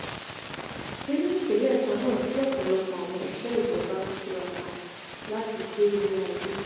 nínú ìpínlẹ̀ kan náà tí ọ̀pọ̀lọpọ̀ àwọn òṣìṣẹ́ ìjọba ń tiraka láti gbé ilẹ̀ ayé